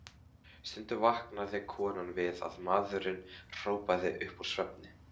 Stundum vaknaði konan við að maðurinn hrópaði upp úr svefni: